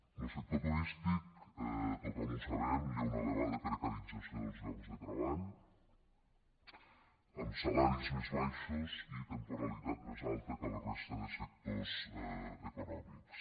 en lo sector turístic tothom ho sabem hi ha un elevada precarització dels llocs de treball amb salaris més baixos i temporalitat més alta que a la resta de sectors econòmics